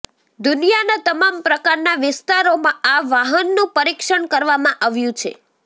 દુનિયાના તમામ પ્રકારના વિસ્તારોમાં આ વાહનનું પરિક્ષણ કરવામાં આવ્યું છે